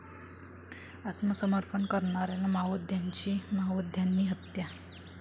आत्मसमर्पण करणाऱ्या माओवाद्याची माओवाद्यांनी हत्या